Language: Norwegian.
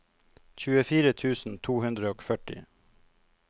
tjuefire tusen to hundre og førti